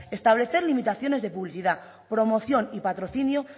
establecer limitaciones de publicidad promoción y patrocinio